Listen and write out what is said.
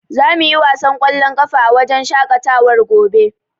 Za mu yi wasan ƙwallon ƙafa a wajen shaƙatawar gobe.